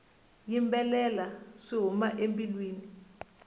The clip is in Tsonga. yimbelela swi huma embilwini